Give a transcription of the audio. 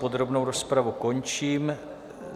Podrobnou rozpravu končím.